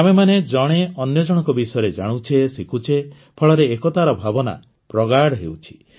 ଆମେମାନେ ଜଣେ ଅନ୍ୟଜଣଙ୍କ ବିଷୟରେ ଜାଣୁଛେ ଶିଖୁଛେ ଫଳରେ ଏକତାର ଭାବନା ପ୍ରଗାଢ଼ ହେଉଛି